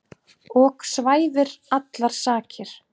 ok svæfir allar sakir.